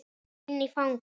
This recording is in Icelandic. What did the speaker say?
Inn í fangið.